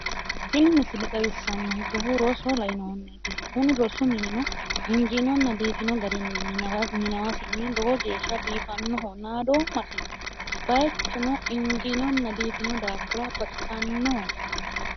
tini misile xawissanonkehuno roso lainohunniiti kuni rosu minino injiinonna biifino garinni minamasinni lowo geeshsha baxisannoho naadoommasi bayiichuno injiinonna biifino daafo baxisannoho.